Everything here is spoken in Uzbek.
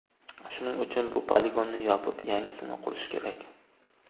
Shuning uchun bu poligonni yopib, yangisini qurish kerak.